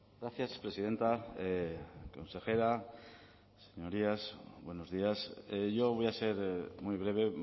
gracias presidenta consejera señorías buenos días yo voy a ser muy breve